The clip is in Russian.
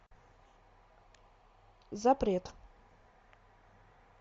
запрет